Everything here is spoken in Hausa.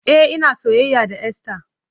E, ina soyayya da Esther.